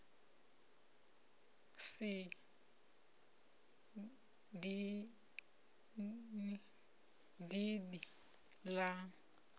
ugobela a si dindi la